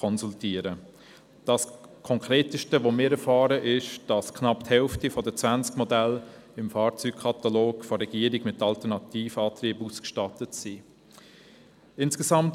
Das Konkreteste, das zu erfahren ist, ist die Tatsache, dass knapp die Hälfte der zwanzig Modelle im Fahrzeugkatalog der Regierung mit Alternativantrieben ausgestattet ist.